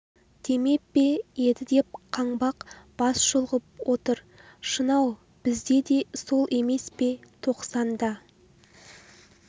демеп пе еді деп қаңбақ бас шұлғып отыр шын-ау бізде де сол емес пе тоқсан да